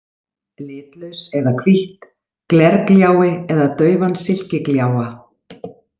Litlaus eða hvítt, glergljái eða daufan silkigljáa.